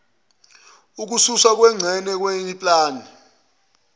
ukususwa kwengxenye yepulani